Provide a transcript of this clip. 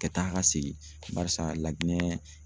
Kɛ taa ka segin barisa LAJINƐ.